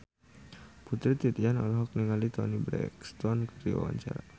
Putri Titian olohok ningali Toni Brexton keur diwawancara